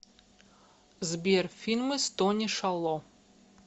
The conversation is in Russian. сбер фильмы с тони шало